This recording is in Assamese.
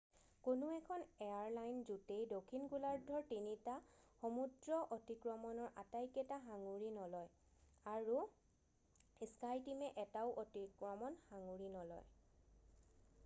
কোনো এখন এয়াৰলাইন জোঁটেই দক্ষিণ গোলাৰ্ধৰ তিনিটা সমুদ্ৰ অতিক্ৰমণৰ আটাইকেইটা সাঙুৰী নলয় আৰু স্কাইটীমে এটাও অতিক্ৰমণ সাঙুৰী নলয়।